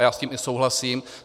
A já s tím i souhlasím.